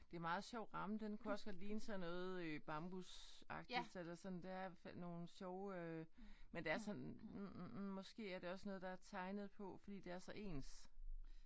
Det meget sjov ramme den kunne også godt ligne sådan øh noget bambusagtigt eller sådan. Det er i hvert fald sådan nogle sjove. Men det er sådan måske er det også noget der er tegnet på fordi det er så ens